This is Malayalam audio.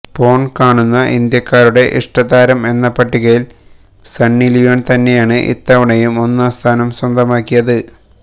പോൺ കാണുന്ന ഇന്ത്യക്കാരുടെ ഇഷ്ടതാരം എന്ന പട്ടികയിൽ സണ്ണിലിയോൺ തന്നെയാണ് ഇത്തവണയും ഒന്നാം സ്ഥാനം സ്വന്തമാക്കിയത്